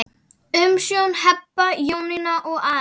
Umsjón Heba, Jónína og Ari.